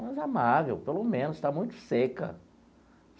Mais amável, pelo menos, você está muito seca.